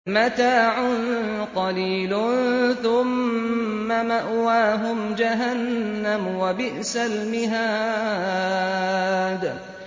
مَتَاعٌ قَلِيلٌ ثُمَّ مَأْوَاهُمْ جَهَنَّمُ ۚ وَبِئْسَ الْمِهَادُ